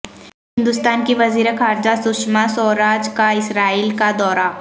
ہندوستان کی وزیر خارجہ سشما سوراج کا اسرائیل کا دورہ